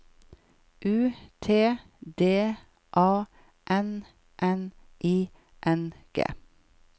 U T D A N N I N G